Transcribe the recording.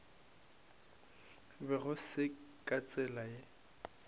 be go se ka tsela